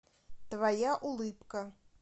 твоя улыбка